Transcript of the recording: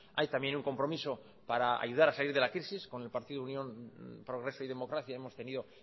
hay también un compromiso para ayudar a salir de la crisis con el partido unión progreso y democracia hemos tenido